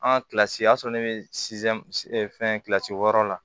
An ka kilasi o y'a sɔrɔ ne bɛ fɛn kilasi wɔɔrɔ la